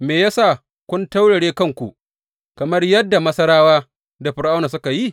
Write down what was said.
Me ya sa kun taurare kanku kamar yadda Masarawa da Fir’auna suka yi?